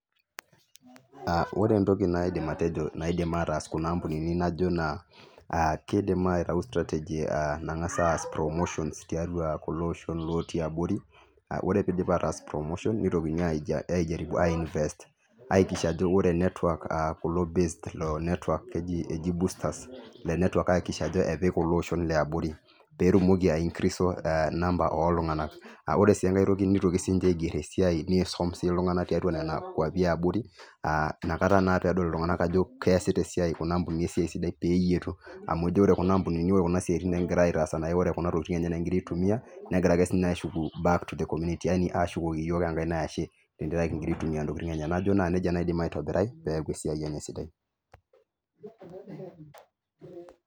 ore entoki naidim atejo naidim aatas kuna kampunini naijo naa kiidim aitau strategy nang'asa aas promotion tiatua kulo oshon laati abori ore peidip ataas promotion neitokini aijaribu ai invest aitisha ajo ore network aihakikisha ajo kepik kulo olshon liabori peetumoki ai increase sa nampa ooltung'anak ore sii enkae toki neitokini sinche aiger esiai niisum sii iltung'anak tiatua nena kwapi iiabori aa inkata naa pedol iltung'anak ajo keesita esiai kuna ampunini esiai sidai peeyietu amu ajo ore kuna ampunini ore kuna siaitin nayii ore kuna tokiting ninye egira aitumia negira ake sinye aashuku back to the community ashukoki iyook enkaena enashe tenkaraki kingira aitumia intokiting enye najoo najii nejia eidim aitobirai peeku esiai enye sidai.